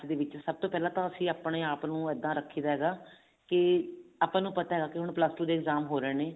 ਸਭ ਤੋਂ ਪਹਿਲਾਂ ਤਾਂ ਅਸੀਂ ਆਪਣੇ ਆਪ ਨੂੰ ਇੱਦਾਂ ਰੱਖੀ ਹੈਗਾ ਕੀ ਆਪਾਂ ਨੂੰ ਪਤਾ ਹੈ ਹੁਣ plus two ਦੇ exam ਹੋ ਰਹੇ ਨੇ